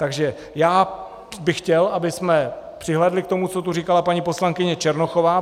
Takže já bych chtěl, abychom přihlédli k tomu, co tady říkala paní poslankyně Černochová.